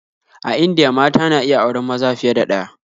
A Indiya mata na iya auren maza fiye da ɗaya